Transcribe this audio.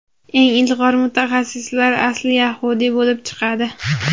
eng ilg‘or mutaxassislar asli yahudiy bo‘lib chiqadi.